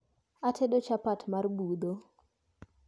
Atedo chapat mar budho